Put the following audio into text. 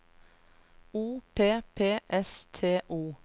O P P S T O